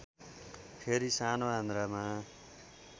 फेरि सानो आन्द्रामा